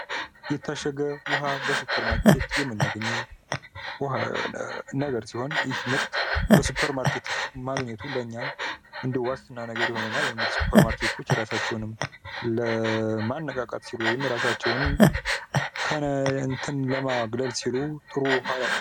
ነታሸገ ዉኃ በሱፐርማርኬት የምናገኘዉ ዉኃ ነገር ሲሆን ይህ ምርት በሱፐርማርኬት ማግኘቱ ለእኛ እንደ ዋስትና ነገር ይሆነናል። ያዉ እንግዲህ ሱፐርማርኬቶች እራሳቸዉን ለማነቃቃት ሲሉ ወይም እራሳቸዉን ከእንትን ለማግለል ሲሉ ጥሩ ዉኃ ያቀርባሉ።